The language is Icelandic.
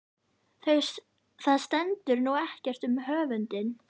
Það stendur nú ekkert um höfundinn.